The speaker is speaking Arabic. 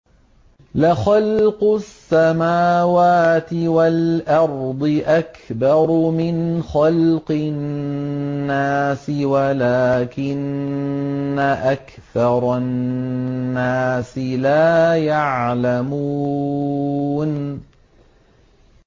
لَخَلْقُ السَّمَاوَاتِ وَالْأَرْضِ أَكْبَرُ مِنْ خَلْقِ النَّاسِ وَلَٰكِنَّ أَكْثَرَ النَّاسِ لَا يَعْلَمُونَ